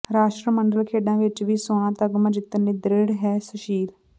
ਰਾਸ਼ਟਰਮੰਡਲ ਖੇਡਾਂ ਵਿਚ ਵੀ ਸੋਨ ਤਮਗਾ ਜਿੱਤਣ ਲਈ ਦ੍ਰਿੜ੍ਹ ਹੈ ਸੁਸ਼ੀਲ